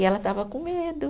E ela estava com medo.